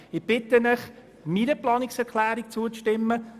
Ich bitte Sie, meiner Planungserklärung zuzustimmen.